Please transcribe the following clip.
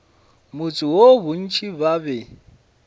motse woo bontši ba be